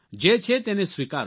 જે છે તેને સ્વીકારો